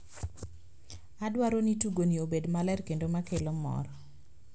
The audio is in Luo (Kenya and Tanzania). Adwaro ni tugo ni obed maler kendo makelo mor.